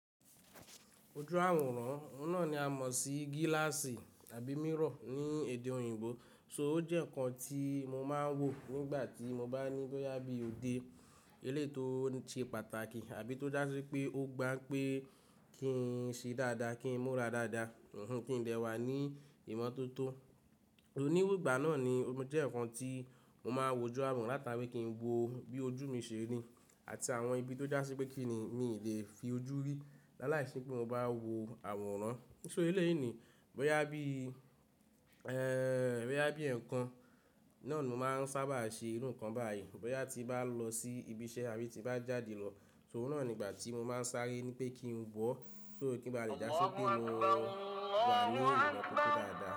Ojú àwòrán, óun náà ni a mọ̀ sí gíláàsì àbí mirror ní èdè òyìnbó. So ó jẹ́ ǹkan tí mo máa ń wò nígbà tí mo bá ní bóyá bí òde eléyi to ni ṣe pàtàkì àbí tó já sí wipé ó gbá n pé kí n ṣe dáadáa, kí n múra dáadáa, kí n dẹ́wà ní ìmọ́tótó. Ni iru ìgbà náà ni ó jẹ́ ǹkan tí mo máa ń wò ojú àwòrán látàrí kí n wo bí ojú mi ṣe rí àti àwọn ibi tó já sí pé kí ni mi lè fi ojú rí láàláìsí pé mo bá wò àwòrán. Níṣe eléyìí ni, bóyá bí, ẹ́ẹ́, bóyá bí ǹkan náà ni mo máa ń sábà ṣe irú ǹkan báyìí, bóyá tí bá lọ sí ibi iṣẹ́ àbí tí bá jáde lọ, so náà ni ìgbà tí mo máa ń sáré ní pé kí n wọ̀, só kí bá le jásó pé mo wà ní ìmọ́tótó dáadáa.